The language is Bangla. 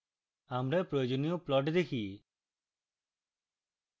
আমরা প্রয়োজনীয় plot দেখি